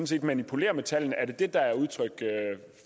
set manipulerer med tallene er det det der er udtryk